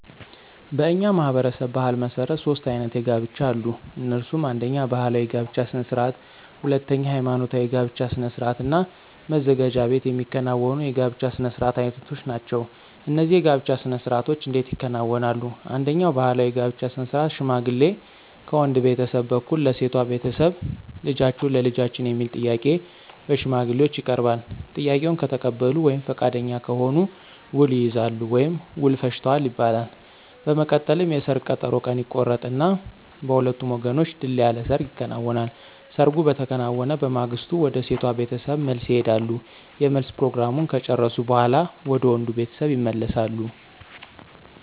በእኛ ማህበረሰብ ባሕል መሠረት ሦስት አይነት የጋብቻ አሉ። እነሱም አነደኛ ባህላዊ የጋብቻ ስነ ስርዓት፣ ሁለተኛ ሐይማኖታዊ የጋብቻ ስነ ስርዓት እና መዘጋጃ ቤት የሚከናወኑ የጋብቻ ስነ ስርዓት አይነቶች ናቸው። እነዚህ የጋብቻ ስነ ስርዓቶች እንዴት ይከናወናሉ፣ አንደኛው ባህላዊ የጋብቻ ስነ ስርዓት ሽማግሌ ከወንድ ቤተሰብ በኩል ለሴቷ ቤተሰብ ልጃችሁን ለልጃችን የሚል ጥያቄ በሽማግሌዎች ይቀርባል፤ ጥያቄውን ከተቀበሉ ወይም ፈቃደኛ ከሆኑ ውል ይይዛሉ ወይም ውል ፈጅተዋል ይባላል። በመቀጠልም የሰርግ ቀጠሮ ቀን ይቆረጥና በሁለቱም ወገኖች ድል ያለ ሰርግ ይከናወናል። ሰርጉ በተከናወነ በማግስቱ ወደ ሴቷ ቤተሰብ መልስ ይሄዳሉ የመልስ ፕሮግራሙን ከጨረሱ በኋላ ወደ ወንዱ ቤተሰብ ይመለሳሉ።